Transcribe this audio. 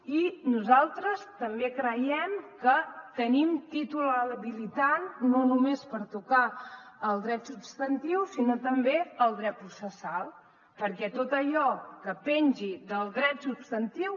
i nosaltres també creiem que tenim títol habilitant no només per tocar el dret substantiu sinó també el dret processal perquè tot allò que pengi del dret substantiu